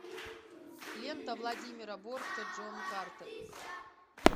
лента владимира бортко джон картер